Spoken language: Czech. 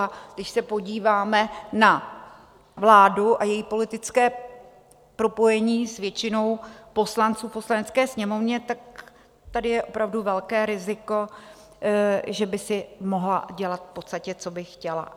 A když se podíváme na vládu a její politické propojení s většinou poslanců v Poslanecké sněmovně, tak tady je opravdu velké riziko, že by si mohla dělat v podstatě, co by chtěla.